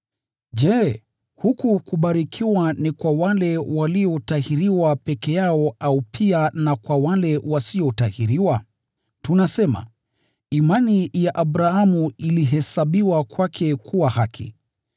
Je, huku kubarikiwa ni kwa wale waliotahiriwa peke yao, au pia na kwa wale wasiotahiriwa? Tunasema, “Imani ya Abrahamu ilihesabiwa kwake kuwa haki.”